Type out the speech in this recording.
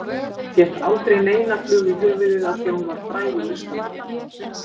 Fékk aldrei neina flugu í höfuðið af því að hún væri frægur listamaður.